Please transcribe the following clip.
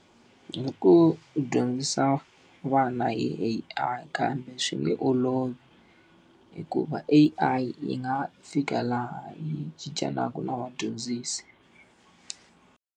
Hi ku va hi ku dyondzisa vana hi A_I kambe swi nge olovi, hikuva A_I yi nga fika laha yi cincelaka na vadyondzisi.